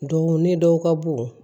Don ne dɔw ka bon